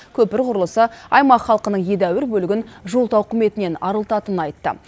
көпір құрылысы аймақ халқының едәуір бөлігін жол тауқыметінен арылтатынын айтты